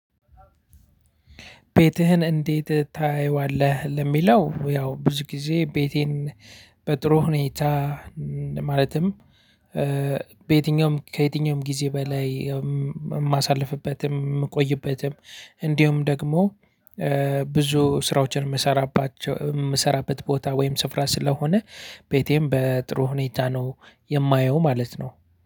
ቤትህን እንዴት ታየዋለህ? ለሚለው ያው ብዙ ጊዜ ቤቴን በጥሩ ሁኔታ ማለትም በየትኛውም ከየትኛውም ጊዜ በላይ የማሳልፍበትም የምቆይበትም እንዲሁም ደግሞ ብዙ ስራዎችን የምሰራባቸው የምሰራበት ቦታ ወይም ስፍራ ስለሆነ ቤቴን በጥሩ ሁኔታ ነው። የማየው ማለት ነው